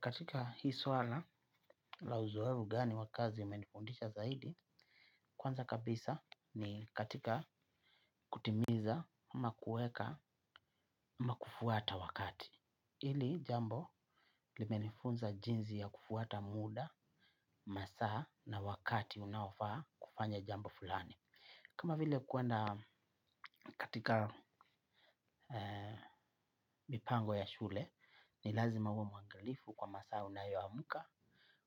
Katika hii swala la uzoevu gani wa kazi umenifundisha zaidi. Kwanza kabisa ni katika kutimiza ama kuweka ama kufuata wakati ili jambo limenifunza jinsi ya kufuata muda, masaa na wakati unaofaa kufanya jambo fulani. Kama vile kuenda katika mipango ya shule ni lazima uwe mwangilifu kwa masaa unayoamka.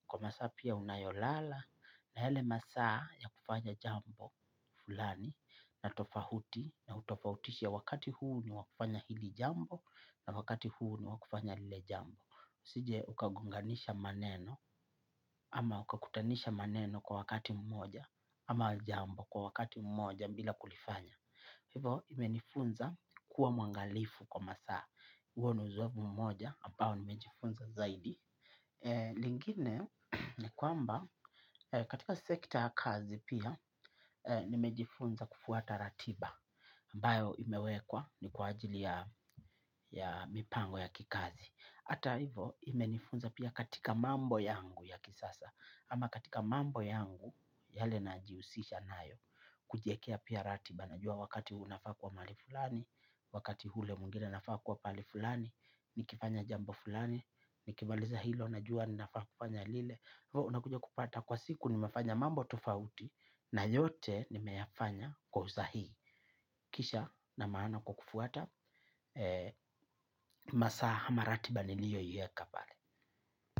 Kwa masaa pia unayolala na yale masaa ya kufanya jambo fulani na tofahuti na utofautishe wakati huu ni wa kufanya hili jambo na wakati huo ni wa kufanya lile jambo. Usije ukagonganisha maneno ama ukakutanisha maneno kwa wakati mmoja ama jambo kwa wakati mmoja mbila kulifanya. Hivo, imenifunza kuwa mwangalifu kwa masaa, huo ni uzoefu mmoja, ambao nimejifunza zaidi. Lingine, ni kwamba, katika sekta ya kazi pia, nimejifunza kufuata ratiba, ambayo imewekwa ni kwa ajili ya mipango ya kikazi. Hivo, imenifunza pia katika mambo yangu ya kisasa, ama katika mambo yangu, yale najihusisha nayo, kujiekea pia ratiba, najua wakati huu nafaa kuwa mahali fulani, wakati hule mwingine nafaa kuwa pahali fulani, nikifanya jambo fulani, nikimaliza hilo, najua ninafaa kufanya lile, kwa hivo unakuja kupata kwa siku nimefanya mambo tofauti, na yote nimefanya kwa usahii. Kisha na maana kwa kufuata, masaa hama ratiba niliyoieka pale.